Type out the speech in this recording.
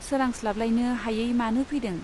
सोरांस्लाबलायनो हायै मानो फैदों ?